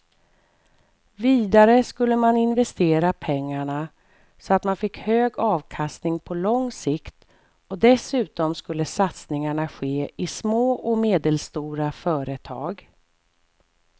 Vidare skulle man investera pengarna så att man fick hög avkastning på lång sikt och dessutom skulle satsningarna ske i små och medelstora företag.